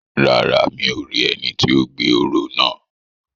Rárá, mi ò rí ẹni ti ó gbé òró náà